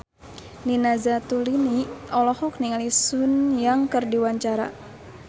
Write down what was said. Nina Zatulini olohok ningali Sun Yang keur diwawancara